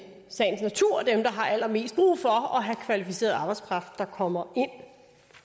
sagens natur dem der har allermest brug for at have kvalificeret arbejdskraft der kommer ind